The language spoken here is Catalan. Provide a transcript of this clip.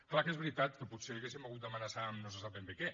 clar que és veritat que potser hauríem hagut d’amenaçar amb no se sap ben bé què